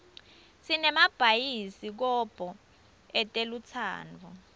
sinemabayisi kobho etelutsandvo